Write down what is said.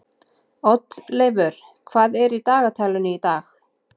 Oddleifur, hvað er í dagatalinu í dag?